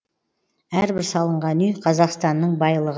әрбір салынған үй қазақстанның байлығы